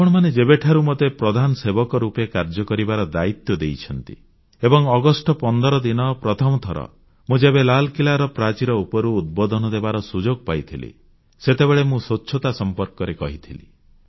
ଆପଣମାନେ ଯେବେଠାରୁ ମୋତେ ପ୍ରଧାନସେବକ ରୂପେ କାର୍ଯ୍ୟ କରିବାର ଦାୟିତ୍ୱ ଦେଇଛନ୍ତି ଏବଂ ଅଗଷ୍ଟ 15 ଦିନ ପ୍ରଥମ ଥର ମୁଁ ଯେବେ ଲାଲକିଲ୍ଲାର ପ୍ରାଚୀର ଉପରୁ ଉଦ୍ବୋଧନ ଦେବାର ସୁଯୋଗ ପାଇଥିଲି ସେତେବେଳେ ମୁଁ ସ୍ୱଚ୍ଛତା ସମ୍ପର୍କରେ କହିଥିଲି